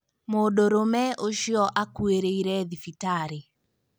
Mũndũrũme ũcio akuĩrĩre thibitarĩ